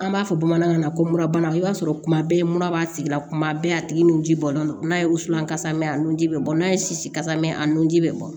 An b'a fɔ bamanankan na ko murabana i b'a sɔrɔ kuma bɛɛ mura b'a tigi la kuma bɛɛ a tigi nun ji bɔlen don n'a ye wusulan kasa mɛn a nun ji bɛ bɔn n'a ye sisi kasa mɛ a nunji bɛ bɔ